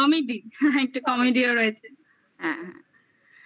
comedy একটা comedy ও রয়েছে হ্যাঁ হ্যাঁ